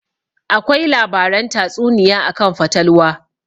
Akwai labaran tatsuniya akan fatalwa